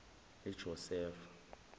ejosefa